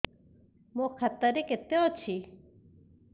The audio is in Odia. ମୋ ଖାତା ରେ କେତେ ଅଛି